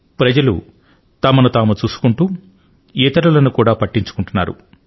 ప్రజలు తమను తాము చూసుకుంటూ ఇతరులను కూడా పట్టించుకుంటున్నారు